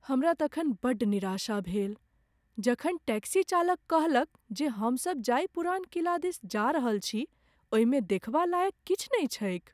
हमरा तखन बड़ निराशा भेल जखन टैक्सी चालक कहलक जे हमसभ जाहि पुरान किला दिस जा रहल छी ओहिमे देखबा लाएक किछु नहि छैक।